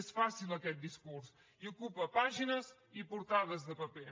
és fàcil aquest discurs i ocupa pàgines i portades de paper